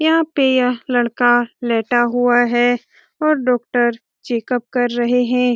यहां पे यह लड़का लेटा हुआ है और डॉक्टर चेकअप कर रहे हैं।